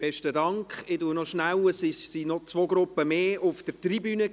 Vorher waren noch zwei Gruppen mehr auf der Tribüne.